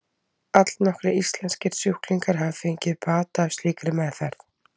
Allnokkrir íslenskir sjúklingar hafa fengið bata af slíkri meðferð.